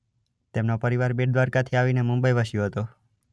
તેમનો પરિવાર બેટ દ્વારકાથી આવીને મુંબઈ વસ્યો હતો.